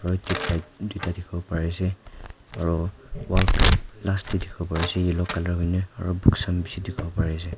aru tubelight tuita dikhi wo pari ase aru wall clock last te dikhi wo pari ase yellow colour hoi ne aru books khan bishi dikhi wo pare ase.